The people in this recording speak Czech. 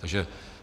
Takže